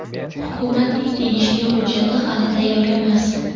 Hukumatning tegishli hujjati hali tayyor emas.